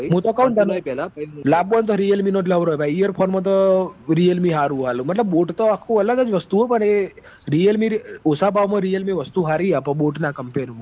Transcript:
મુતો કવ તન લાંબો વોય તો realme નોજ લવરોય ભાઈ earphone મો તો realme હારું આલ મતલભ બોટ તો આખું અલગ જ વસ્તું હ પણ એ realme આછા ભાવ મો realme વસ્તું હારી આપ બોટ ના compare મો